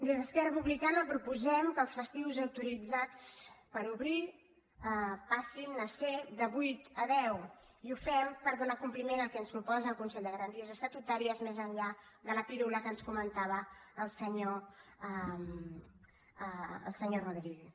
des d’esquerra republicana proposem que els festius autoritzats per obrir passin a ser de vuit a deu i ho fem per donar compliment al que ens proposa el consell de garanties estatutàries més enllà de la pirula que ens comentava el senyor rodríguez